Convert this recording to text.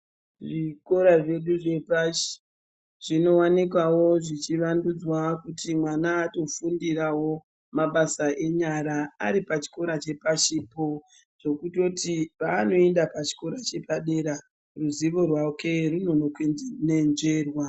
Zvikora zvedu zvepashi zvinowanikwawo zvichiwandudzwa kuti mwana atofundirawo mabasa enyara aripachikora chepashipo zvokutoti paanoenda pachikora chepadera ruzivo rwake runokononzverwa.